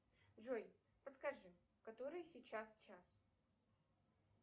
джой подскажи который сейчас час